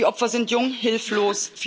Die Opfer sind jung, hilflos.